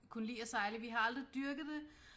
Kunne lide at sejle vi har aldrig dyrket det